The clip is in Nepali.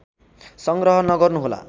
सङ्ग्रह नगर्नुहोला